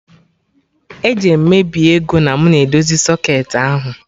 Eje m mebie ego na mụ na edozi socketị ahụ